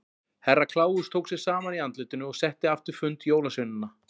Herra Kláus tók sig saman í andlitinu og setti aftur fund jólasveinanna.